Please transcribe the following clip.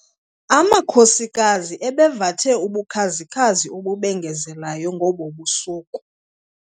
Amakhosikazi ebevathe ubukhazi-khazi obubengezelayo ngobo busuku.